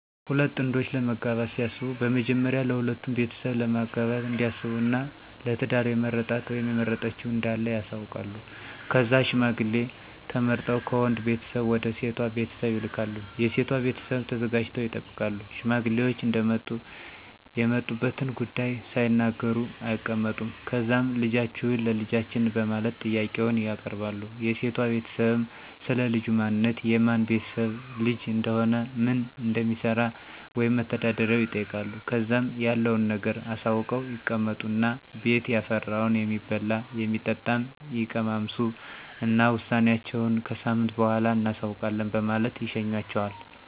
ሁለት ጥንዶች ለመጋባት ሲያስቡ በመጀመሪያ ለሁለቱም ቤተሰብ ለማጋባት እንዳሰቡ እና ለ ትዳር የመረጣት(የመረጠችዉ) እንዳለ ያሳዉቃሉ. ከዛም ሽማግሌ ተመርጠው ከወንድ ቤተሰብ ወደ ሴቷ ቤተሰብ ይልካሉ .የሴቷ ቤተሰብም ተዘጋጅተው ይጠብቃሉ። ሽማግሌዎች እንደመጡ የመጡበትን ጉዳይ ሳይናገሩ አይቀመጡም። ከዛም ልጃችሁን ለ ልጃችን በማለት ጥያቄውን ያቀርባሉ .የሴቷ ቤተሰብም, ስለ ልጁ ማንነት፣ የማን ቤተሰብ ልጅ እንደሆነ፣ ምን እንደሚሰራ(መተዳደሪያው)ይጠይቃሉ .ከዛም ያለዉን ነገር አሳውቀው ይቀመጡ እና ቤት ያፈራውን የሚበላም, የሚጠጣም ይቀማምሱ እና ውሳኔአቸውን ከሳምንት በኋላ እናሳዉቃለን በማለት ይሸኟቸዋል።